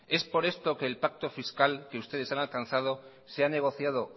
es por esto que el pacto fiscal que ustedes han alcanzado se ha negociado